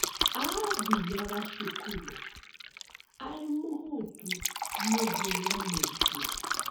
Aathiaga cukuru arĩ mohotu mĩthenya mĩingĩ.